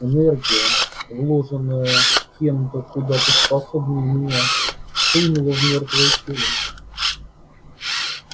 энергия вложенная кем-то куда поспособнее меня хлынула в мёртвое тело